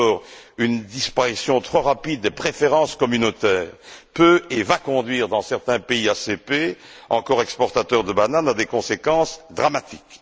D'abord, une disparition trop rapide des préférences communautaires peut et va conduire, dans certains pays ACP encore exportateurs de bananes, à des conséquences dramatiques.